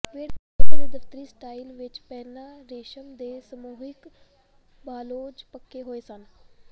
ਵਿਹੜੇ ਦੇ ਦਫਤਰੀ ਸਟਾਈਲ ਵਿਚ ਪਹਿਲਾਂ ਰੇਸ਼ਮ ਦੇ ਸਮੂਹਿਕ ਬਾਂਲੋਜ਼ ਪੱਕੇ ਹੋਏ ਸਨ